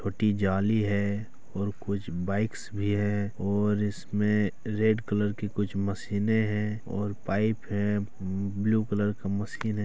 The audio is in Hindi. फटी जाली है और कुछ बाइक्स भी हैं और इसमें रेड कलर की कुछ मशीनें हैं और पाइप है। ब्लू कलर का मशीन है।